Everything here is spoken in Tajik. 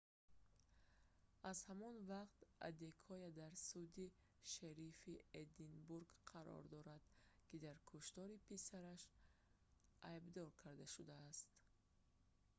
аз ҳамон вақт адекоя дар суди шерифи эдинбург қарор дорад ки дар куштори писараш айдбдор карда шудааст